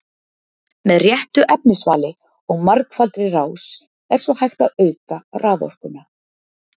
með réttu efnisvali og margfaldri rás er svo hægt að auka raforkuna